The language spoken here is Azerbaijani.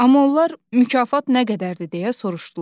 Amma onlar mükafat nə qədərdir deyə soruşdular.